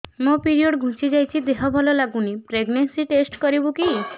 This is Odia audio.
ମୋ ପିରିଅଡ଼ ଘୁଞ୍ଚି ଯାଇଛି ଦେହ ଭଲ ଲାଗୁନି ପ୍ରେଗ୍ନନ୍ସି ଟେଷ୍ଟ କରିବୁ କି